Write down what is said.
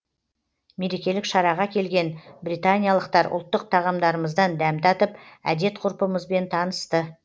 мерекелік шараға келген британиялықтар ұлттық тағамдарымыздан дәм татып әдет ғұрпымызбен танысты